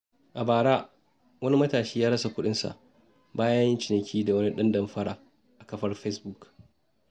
A bara, wani matashi ya rasa kuɗinsa bayan ya yi ciniki da wani ɗan damfara a kafar Fesbuk.